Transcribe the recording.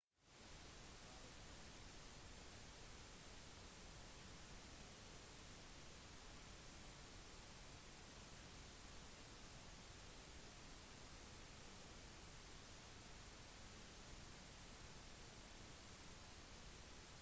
ifølge den siste rapporten viste havnivåmålinger at en tsunami ble generert en del tydelig tsunamiaktivitet ble registrert i nærheten av pago pago og niue